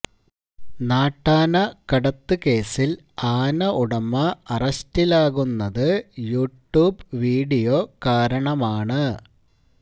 നാട്ടാനകടത്ത് കേസിൽ ആന ഉടമ അറസ്റ്റിലാകുന്നത് യ ട്യൂബ് വീടിയോ കാരണമാണ്